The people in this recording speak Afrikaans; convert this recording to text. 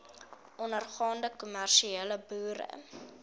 ondergaande kommersiële boere